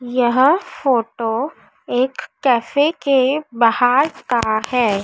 यह फोटो एक कैफे के बहार का है।